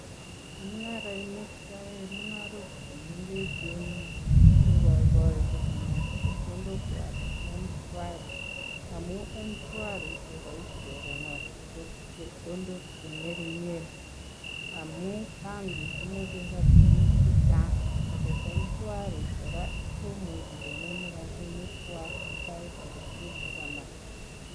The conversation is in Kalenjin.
Chemungarainik. cheaai. kukarook chemengecheeen kokai kaii kokoniree chepkondok MShwari amun konoreee chepkondok chechang ako chengeringeen